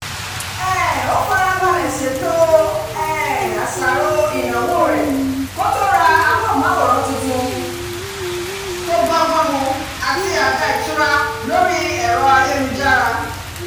um ó farabalẹ̀ ṣètò um àṣàrò ìnáwó rẹ̀ kó tó ra amóhùnmáwòrán tuntun tó bọ́gbọ́n mu àti àga ìtura lórí ayélujára